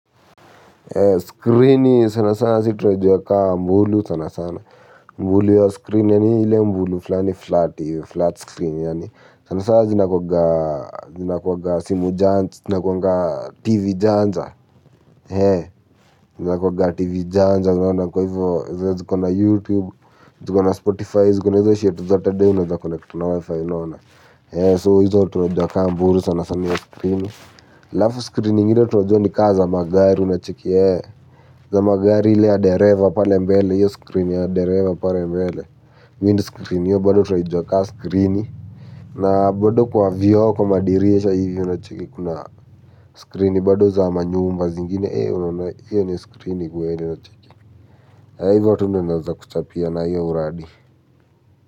Screen sana sana sisi tunaijuwa kama mbulu sana sana. Mbulu ya screen yani ile mbulu flani flat, flat screen yani sana sana zinakuwanga simu janja, zinakuwanga tv janja zinakuwanga tv janja unaona kwa hivo zenye ziko na youtube zikona spotify zikona hizo shiet zote hadi unaweza connect na wifi unaona hizo tunajua kama mbulu sanasana halafu screen zingine tunajua ni kama za magari unacheki ee za magari ile ya dereva pale mbele hiyo screen ya dereva pale mbele windscreen hiyo bado tunaijua kama screen na bado kwa vioo kwa madirisha hivi unacheki kuna screen bado za manyumba zingine ee unaona hio ni screen kweli unacheki ee hivo tu naeza kuchapia na hiyo uradi.